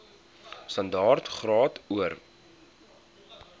standaard graad or